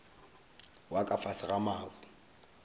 wa ka fase ga mabu